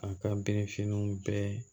A ka berefiniw bɛɛ